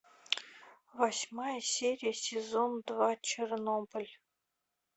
восьмая серия сезон два чернобыль